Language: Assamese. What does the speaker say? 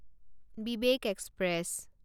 বিবেক এক্সপ্ৰেছ